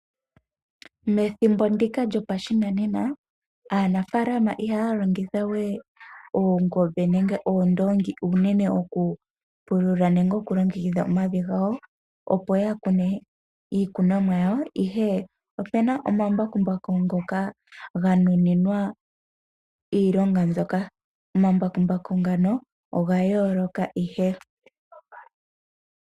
Methimbo ndika lyopashinanena aanafalama ihaya longitha we Oongombe nenge Oondongi uunene okupulula nenge okulongekidha omavi gawo opo yakune iikunomwa yawo, ihe opena omambakumbaku ngoka ganuninwa iilonga mbyoka. Omambakumbaku ngano ohaga yooloka ihe.